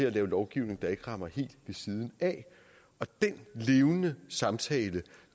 at lave lovgivning der ikke rammer helt ved siden af den levende samtale